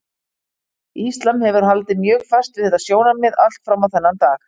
Íslam hefur haldið mjög fast við þetta sjónarmið allt fram á þennan dag.